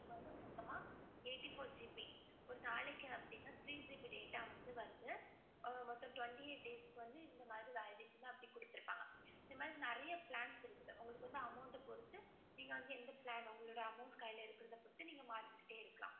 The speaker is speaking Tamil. ஒரு நாளைக்கு வந்து three GB data வருது. twenty-eight days validation குடுத்துருக்காங்க. இந்த மாதிரி நிறைய plans இருக்கு. உங்களுக்கு amount பொறுத்து நீங்க எந்த plan உங்க amount கையில இருக்கறதை பொறுத்து நீங்க மாத்திகிட்டே இருக்கலாம்